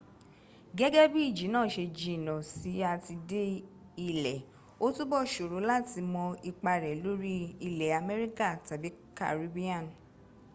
gẹ́gẹ́ bí ìjì náà ṣe jìnà si à ti dé ilẹ̀ o túbọ̀ ṣòro láti mọ ipa rẹ̀ lórí ilẹ̀ amẹríkà tàbí caribbean